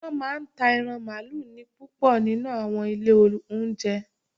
Wọ́n máa ń ta ẹran mààlúù ní púpọ̀ nínú u àwọn ilé óúnjẹ